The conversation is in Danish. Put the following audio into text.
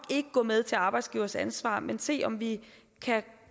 ikke gå med til arbejdsgivers ansvar men se om vi kan